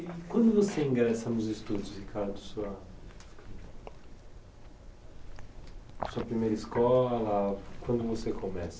E quando você ingressa nos estudos, Ricardo, sua sua primeira escola, quando você começa?